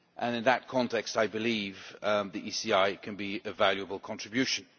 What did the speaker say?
In that context, I believe the ECI can be a valuable contribution.